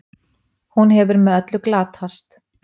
Hún hefur með öllu glatast.